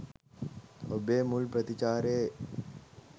ඔබේ මුල් ප්‍රතිචාරයේ